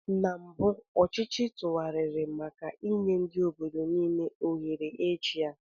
Na mbụ ọchịchị tụgharịrị maka nye ndị obodo niile ohere ị chia.